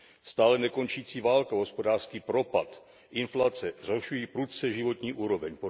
Stále nekončící válka, hospodářský propad, inflace zhoršují prudce životní úroveň.